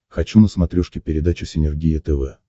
хочу на смотрешке передачу синергия тв